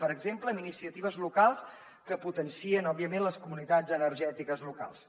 per exemple amb iniciatives locals que potencien òbviament les comunitats energètiques locals